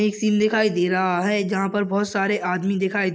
एक सीन दिखाई दे रहा है जहाँ पर बोहोत सारे आदमी दिखाई--